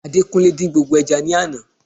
Adekunle din gbogbo eja ni àná